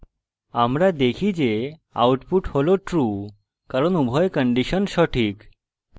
আমরা দেখি যে output হল true কারণ উভয় কন্ডিশন সঠিক